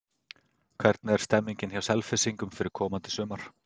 Hvernig er stemmingin hjá Selfyssingum fyrir komandi sumar?